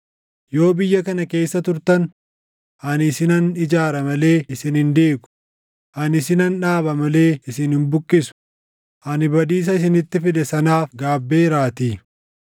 ‘Yoo biyya kana keessa turtan, ani isinan ijaara malee isin hin diigu; ani isinan dhaaba malee isin hin buqqisu; ani badiisa isinitti fide sanaaf gaabbeeraatii.